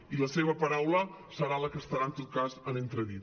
i la seva paraula serà la que estarà en tot cas en entredit